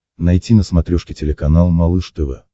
найти на смотрешке телеканал малыш тв